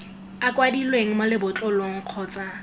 a kwadilweng mo lebotlolong kgotsa